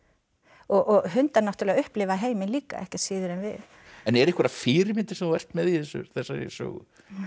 og hundar náttúrulega upplifa heiminn líka ekki síður en við eru einhverjar fyrirmyndir sem þú ert með í þessari sögu